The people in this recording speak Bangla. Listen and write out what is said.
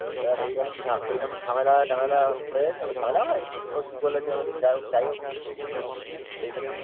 এবার ওইরকম ঝা ঝামেলা টামেলা হয়। ঝামেলা হয় নি। ও কি বলেছে। যাইহোক। সেইসব